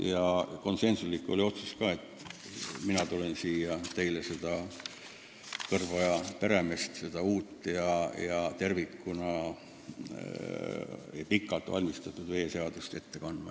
Ja konsensuslik oli ka otsus, et mina tulen siia teile seda "Kõrboja peremeest", seda uut ja pikalt ette valmistatud veeseadust ette kandma.